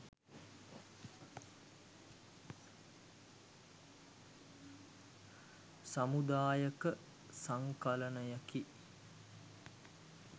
සමුදායක සංකලනයකි.